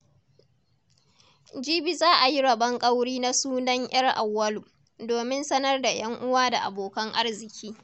Jibi za a yi rabon ƙauri na sunan 'yar Auwalu, domin sanar da 'yan uwa da abokan arziki.